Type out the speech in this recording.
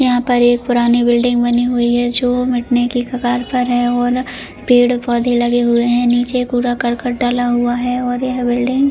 यहां पर एक पुरानी बिल्डिंग बनी हुई है जो मिटने की कगार पर है और पेड़ पौधे लगे हुए हैं नीचे पूरा करकट डाला हुआ है और यह बिल्डिंग --